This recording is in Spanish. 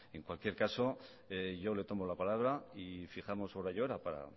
en cualquier caso yo le tomo la palabra y fijamos día y hora para